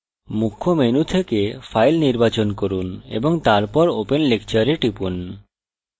মুখ্য menu থেকে file নির্বাচন from এবং তারপর open lecture এ টিপুন